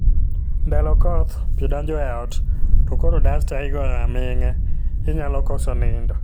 Ndalo koth, pii donjo e ot, to koro dasta igoyo aming'a ; inyalo koso nindo